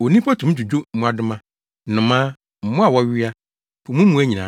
Onipa tumi dwudwo mmoadoma, nnomaa, mmoa a wɔwea, po mu mmoa nyinaa,